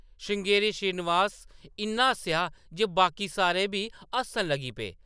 श्रृंगेरी श्रीनिवास इन्ना हस्सेआ जे बाकी सारे बी हस्सन लगी पे।